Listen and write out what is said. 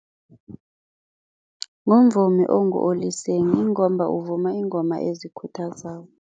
Ngumvumi ongu-Oliseng ingomba uvuma iingoma ezikhuthazako.